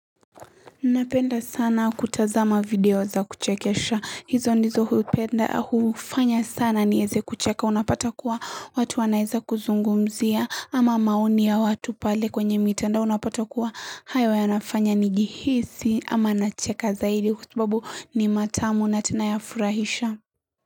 Napenda sana kutazama video za kuchekesha. Hizo ndizo hupenda hufanya sana nieze kucheka. Unapata kuwa watu wanaeza kuzungumzia ama maoni ya watu pale kwenye mitandao Unapata kuwa hayo yanafanya nijihisi ama nacheka zaidi kwa sababu ni matamu na tena yafurahisha.